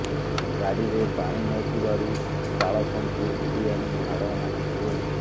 ଗାଡ଼ିରେ ପାଣି ନଥିବାରୁ ଚାଳକଙ୍କୁ ଭିଡ଼ି ଆଣି ମାଡ଼ ମାରିଥିଲେ